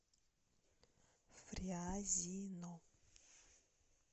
фрязино